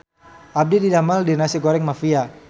Abdi didamel di Nasi Goreng Mafia